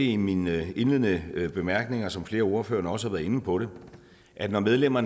i mine indledende bemærkninger som flere af ordførerne også har været inde på at når medlemmer